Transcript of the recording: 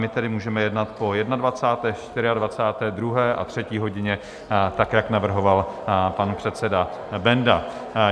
My tedy můžeme jednat po 21., 24., 2. a 3. hodině tak, jak navrhoval pan předseda Benda.